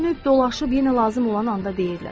Dönüb dolaşıb, yenə lazım olan anda deyirlər: